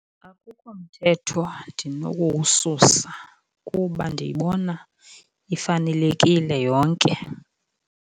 Akukho mthetho ndinokuwususa kuba ndiyibona ifanelekile yonke.